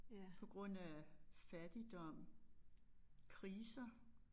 På grund af fattigdom kriser